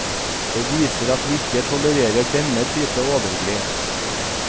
Det viser at vi ikke tolererer denne type overgrep.